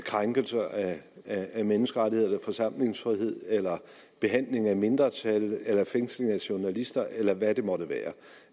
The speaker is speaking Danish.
krænkelser af af menneskerettigheder eller forsamlingsfrihed eller behandling af mindretal eller fængslinger af journalister eller hvad det måtte være